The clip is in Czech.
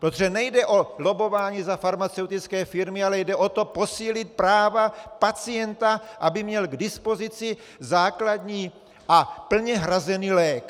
Protože nejde o lobbování za farmaceutické firmy, ale jde o to posílit práva pacienta, aby měl k dispozici základní a plně hrazený lék.